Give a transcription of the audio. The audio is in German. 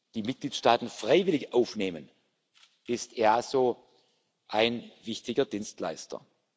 die Mitgliedstaaten freiwillig aufnehmen, ist das EASO ein wichtiger Dienstleister.